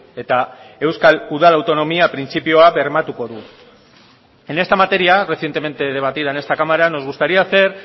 eta euskal udal autonomia printzipioa bermatuko du en esta materia recientemente debatida en esta cámara nos gustaría hacer